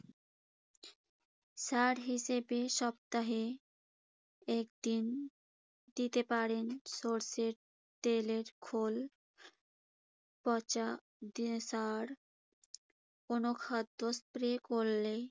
সার হিসেবে সপ্তাহে একদিন দিতে পারেন সরষের তেলের খোল। পচা সার কোনো খাদ্য স্প্রে করলে